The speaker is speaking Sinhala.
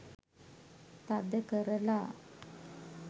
තද කරලා.